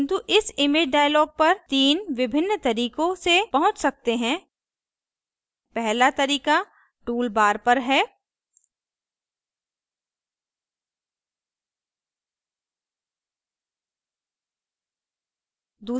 किन्तु हम image dialog पर 3 विभिन्न तरीकों से पहुँच सकते हैं पहला तरीका tool bar पर है